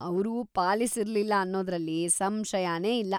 ಅವ್ರು ಪಾಲಿಸಿರ್ಲಿಲ್ಲ ಅನ್ನೋದ್ರಲ್ಲಿ ಸಂಶಯನೇ ಇಲ್ಲ.